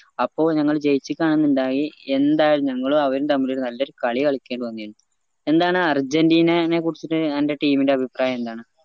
അപ്പൊ നമ്മള് ജയിച്ചിക്ക എന്നിണ്ടായി എന്തായാലും ഞങ്ങളും അവരും തമ്മില് നല്ലൊരു കാലികളിക്കേണ്ടി വന്നേനു എന്താണ് അർജന്റിനെനെ കുറിച്ചിട്ട് അന്റെ team ന്റെ അഭിപ്രായം